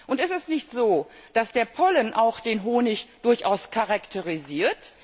Und ist es nicht so, dass der Pollen auch den Honig durchaus charakterisiert?